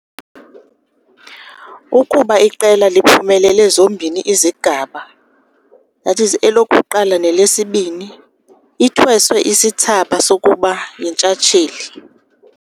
Ukuba iqela liphumelele zombini izigaba that is, elokuqala nelesibini, ithweswe isithsaba sokuba yintshatsheli.